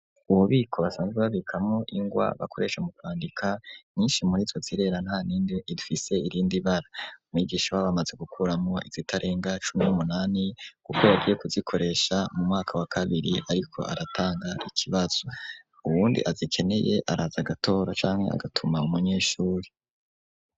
Ububiko basanze babikamwo ingwa ,bakoresha mu kwandika nyinshi murizo zirera, ntanimwe ifise irindi bara ,mwigisha ba bamaze gukuramwo izitarenga cumin'umunani guk agiye kuzikoresha mu mwaka wa kabiri ariko aratanga ikibazo ubundi azikeneye araza gatoro canke agatuma umunyeshuri.